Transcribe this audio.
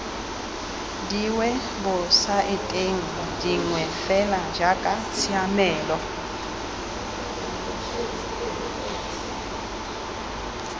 diwebosaeteng dingwe fela jaaka tshiamelo